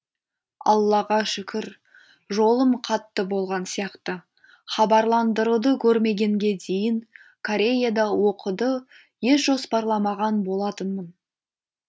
аллаға шүкір жолым қатты болған сияқты хабарландыруды көрмегенге дейін кореяда оқуды еш жоспарламаған болатынмын